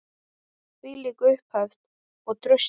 Þvílík upphefð og traust.